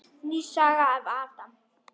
Ný saga af Adam.